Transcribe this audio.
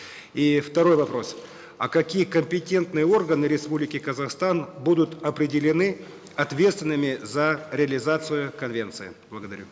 и второй вопрос а какие компетентные органы республики казахстан будут определены ответственными за реализацию конвенции благодарю